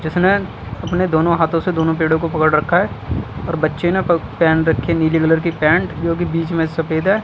जिसने अपने दोनों हाथों से दोनों पेड़ों को पकड़ रखा है और बच्चे ने प पहन रखी है नीले कलर की पैंट जो कि बीच में सफेद है।